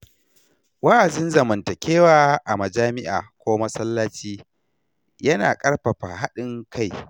Wa’azin zamantakewa a majami’a ko masallaci ya na ƙarfafa haɗin kai.